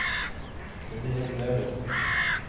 Gunhild Lauritzen